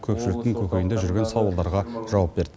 көпшіліктің көкейінде жүрген сауалдарға жауап берді